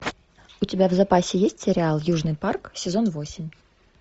у тебя в запасе есть сериал южный парк сезон восемь